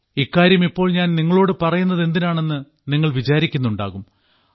ഇക്കാര്യം ഇപ്പോൾ ഞാൻ നിങ്ങളോട് പറയുന്നതെന്തിനാണെന്ന് നിങ്ങൾ വിചാരിക്കുന്നുണ്ടാകും